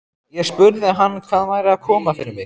Ég spurði hann hvað væri að koma fyrir mig.